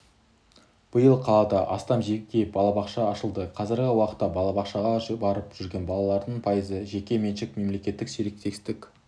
биыл қалада астам жеке балабақша ашылды қазіргі уақытта балабақшаға барып жүрген балалардың пайызы жеке меншік-мемлекеттік серіктестік